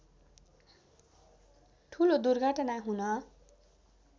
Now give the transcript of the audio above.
ठूलो दुर्घटना हुन